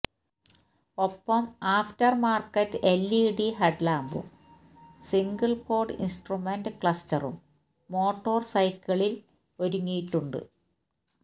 ഒപ്പം aftermarket LED ഹെഡ്ലാമ്പും single pod instrument ക്ലസ്റ്ററും മോട്ടോര്സൈക്കിളില് ഒരുങ്ങിയിട്ടുണ്ട്